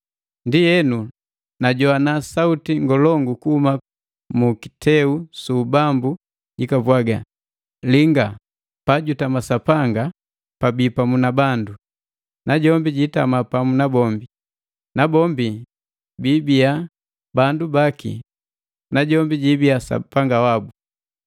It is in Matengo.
Ndienu najowana suuti ngolongu kuhuma mu kiteu su ubambu jikapwaga, “Linga! Pajutama Sapanga gabii pamu na bandu. Najombi jiitama pamu na bombi. Nabombi biibia bandu baki najombi jiibia Sapanga wabu.